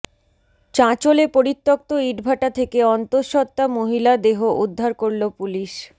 চাঁচোলে পরিত্যক্ত ইটভাটা থেকে অন্তঃস্বত্ত্বা মহিলা দেহ উদ্ধার করল পুলিশ